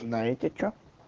знаете что